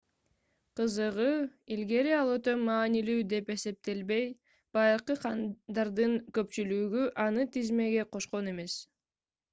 кызыгы илгери ал өтө маанилүү деп эсептелбей байыркы хандардын көпчүлүгү аны тизмеге кошкон эмес